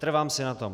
Trvám si na tom.